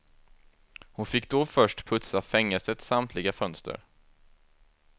Hon fick då först putsa fängelsets samtliga fönster.